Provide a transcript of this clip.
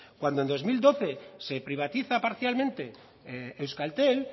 cuando en dos mil doce se privatiza parcialmente euskaltel